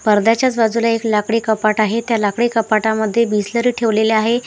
पडद्याच्याच बाजूला एक लाकडी कपाट आहे त्या लाकडी कपाटमध्ये बिसलेरी ठेवलेली आहे.